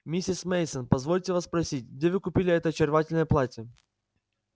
миссис мейсон позвольте вас спросить где вы купили это очаровательное платье